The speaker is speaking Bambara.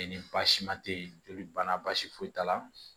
ni baasi ma tɛ yen joli banna baasi foyi t'a la